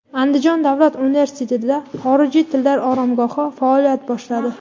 Andijon davlat universitetida xorijiy tillar oromgohi faoliyat boshladi.